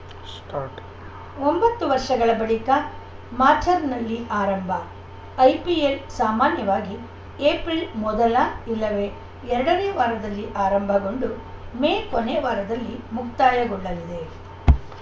start ಒಂಬತ್ತು ವರ್ಷಗಳ ಬಳಿಕ ಮಾಚ್‌ರ್‍ನಲ್ಲಿ ಆರಂಭ ಐಪಿಎಲ್‌ ಸಾಮಾನ್ಯವಾಗಿ ಏಪ್ರಿಲ್‌ ಮೊದಲ ಇಲ್ಲವೇ ಎರಡನೇ ವಾರದಲ್ಲಿ ಆರಂಭಗೊಂಡು ಮೇ ಕೊನೆ ವಾರದಲ್ಲಿ ಮುಕ್ತಾಯಗೊಳ್ಳಲಿದೆ